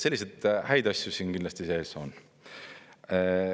Selliseid häid asju siin kindlasti sees on.